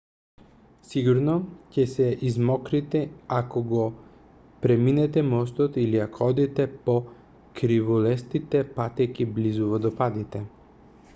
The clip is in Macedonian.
сигурно ќе се измокрите ако го преминете мостот или ако одите по кривулестите патеки близу водопадите